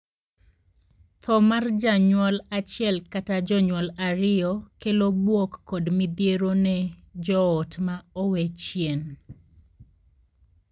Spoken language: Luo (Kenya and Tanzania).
Thoo mar janyuol achiel kata jonyuol ariyo kelo buok kod midhiero ne joot ma owee chien.